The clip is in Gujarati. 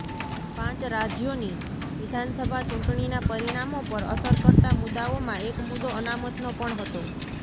પાંચ રાજ્યોની વિધાનસભા ચૂંટણીના પરિણામો પર અસરકર્તા મુદ્દાઓમાં એક મુદ્દો અનામતનો પણ હતો